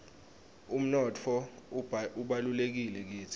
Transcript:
umnotfo ubalulekile kitsi